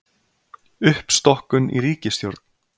Uppstokkun í ríkisstjórn